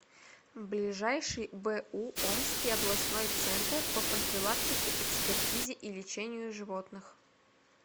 ближайший бу омский областной центр по профилактике экспертизе и лечению животных